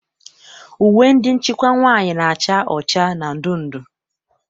Uwe ndị nchịkwa nwaanyị na-acha ọcha na ndụndụ.